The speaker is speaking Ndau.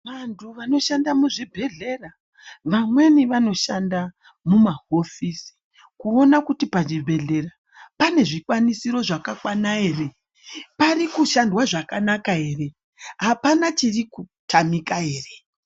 Vantu vanoshanda muzvibhedhlera vamweni vanoshand mumahofisi kuona kuti pachibhedhlera pane zvikwanisiro zvakakwana ere, parikushandwa zvakanaka ere , apana chiri kutamika ere.